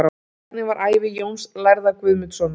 Hvernig var ævi Jóns lærða Guðmundssonar?